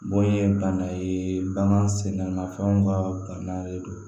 Bon ye bana ye bagan sɛgɛnna fɛnw kaa bana le don